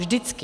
Vždycky.